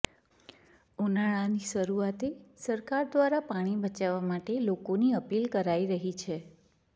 ઉનાળાની શરૂઆતે સરકાર દ્વારા પાણી બચાવવા માટે લોકોની અપીલ કરાઇ રહી છે